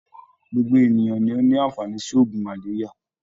Gbogbo ènìyàn ni o ní àǹfàání si ògùn malaria.